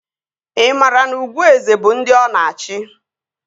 Ị maara na ugwu eze bụ ndị ọ na-achị?